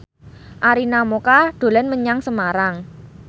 Arina Mocca dolan menyang Semarang